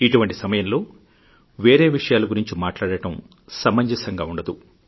ఇటువంటి సమయంలో వేరే విషయాల గురించి మాట్లాడటం సమంజసంగా ఉండదు